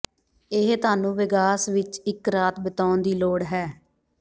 ਇਹ ਤੁਹਾਨੂੰ ਵੇਗਾਸ ਵਿਚ ਇਕ ਰਾਤ ਬਿਤਾਉਣ ਦੀ ਲੋੜ ਹੈ